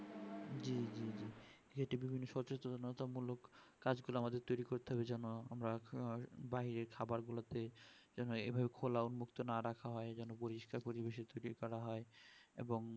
এতে বিভিন্ন সচেতনতা মূলক কাজ গুলো আমাদের তৈরী করতে হবে যেমন দাঁড়িয়ে খাবার গুলো কে এইভাবে খোলামুক্ত না রাখা হয় যেন পরিষ্কার পরিবেশে তৈরী করা হয় এবং